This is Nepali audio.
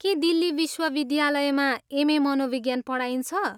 के दिल्ली विश्वविद्यालयमा एम.ए. मनोविज्ञान पढाइन्छ?